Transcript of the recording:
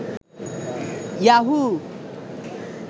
Yahoo